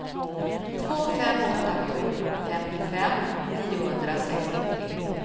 två fem åtta sju femtiofem niohundrasextiotre